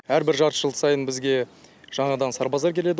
әрбір жарты жыл сайын бізге жаңадан сарбаздар келеді